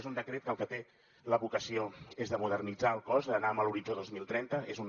és un decret que el que té la vocació és de modernitzar el cos d’anar amb l’horitzó dos mil trenta és un